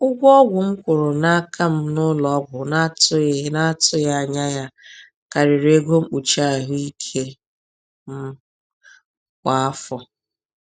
Ụgwọ ọgwụ m kwụrụ n’aka m n’ụlọọgwụ na-atụghị na-atụghị anya ya karịrị ego mkpuchi ahụike m kwa afọ.